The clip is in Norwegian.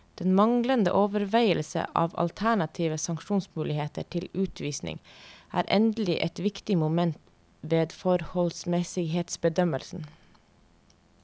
Den manglende overveielse av alternative sanksjonsmuligheter til utvisning er endelig et viktig moment ved forholdsmessighetsbedømmelsen.